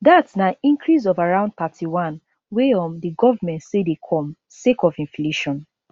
dat na increase of around 31 wey um di govment say dey come sake of inflation